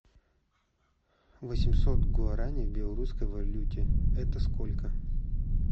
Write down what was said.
восемьсот гуарани в белорусской валюте это сколько